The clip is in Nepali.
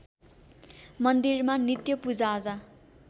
मन्दिरमा नित्य पूजाआजा